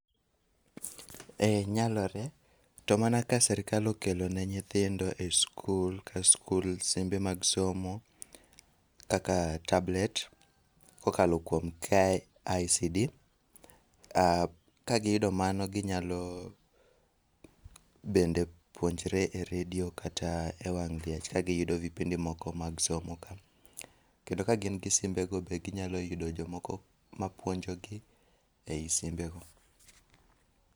ee nyalore to mana ka sirikal okelone ni nyithindo e school ka school simbe mag somo kaka tablet kokalo kuom kicd kagiyudo mano ginyalo bende puonjre e redio kata e wang liech ka giyudo vipindi moko mag somo ka . kendo ka gin gi simbe go be ginyalo yudo jomoko mapuonjogi ei simbe go